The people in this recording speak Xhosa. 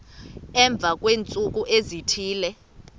emva kweentsuku ezithile